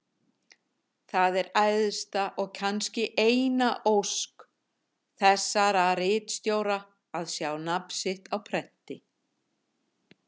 Það er æðsta og kannski eina ósk þessara ritstjóra að sjá nafn sitt á prenti.